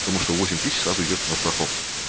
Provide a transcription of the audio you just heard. потому что восемь тысяч сразу идёт на страховку